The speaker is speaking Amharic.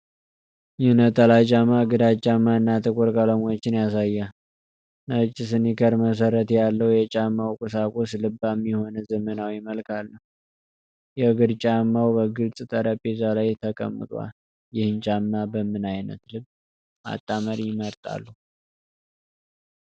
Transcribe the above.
ይህ ነጠላ ጫማ ግራጫማ እና ጥቁር ቀለሞችን ያሳያል፣ ነጭ ስኒከር መሠረት ያለው። የጫማው ቁሳቁስ ልባም የሆነ ዘመናዊ መልክ አለው። የእግር ጫማው በግልጽ በጠረጴዛ ላይ ተቀምጧል። ይህንን ጫማ በምን አይነት ልብስ ማጣመር ይመርጣሉ?